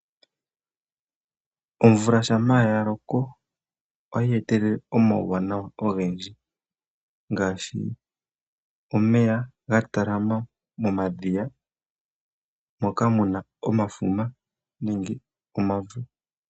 Omvula shampa ya loko oha yee telele uuwanawa owundji ngaashi omeya ga talama momadhiya moka muna omafuma.